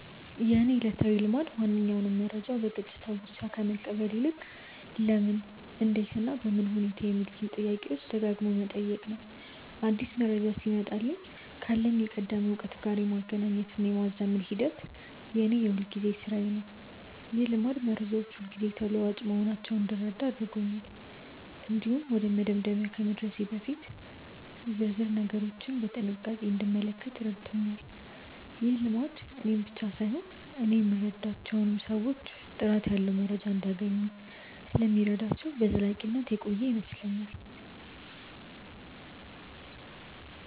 የእኔ ዕለታዊ ልማድ ማንኛውንም መረጃ በገጽታው ብቻ ከመቀበል ይልቅ "ለምን? እንዴት? እና በምን ሁኔታ" የሚሉትን ጥያቄዎች ደጋግሞ መጠየቅ ነው። አዲስ መረጃ ሲመጣልኝ ካለኝ የቀደመ እውቀት ጋር የማገናኘትና የማዛመድ ሂደት የእኔ የሁልጊዜ ሥራዬ ነው። ይህ ልማድ መረጃዎች ሁልጊዜ ተለዋዋጭ መሆናቸውን እንድረዳ አድርጎኛል። እንዲሁም ወደ መደምደሚያ ከመድረሴ በፊት ዝርዝር ነገሮችን በጥንቃቄ እንድመለከት ረድቶኛል። ይህ ልማድ እኔን ብቻ ሳይሆን እኔ የምረዳቸውን ሰዎችም ጥራት ያለው መረጃ እንዲያገኙ ስለሚረዳቸው በዘላቂነት የቆየ ይመስለኛል።